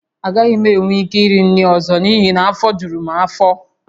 Agaghị m enwe ike iri nri ọzọ n’ihi na afọ juru m afọ